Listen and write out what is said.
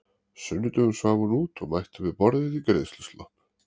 sunnudögum svaf hún út og mætti við borðið í greiðsluslopp.